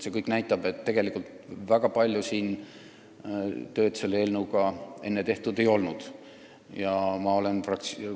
See kõik näitab, et tegelikult ei ole selle eelnõuga enne väga palju tööd tehtud.